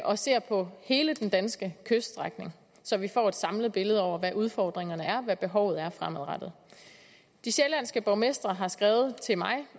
og ser på hele den danske kyststrækning så vi får et samlet billede over hvad udfordringerne er og hvad behovet er fremadrettet de sjællandske borgmestre har skrevet til mig